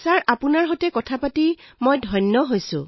আমি আপোনাৰ সৈতে কথা পাতি ধন্য ছাৰ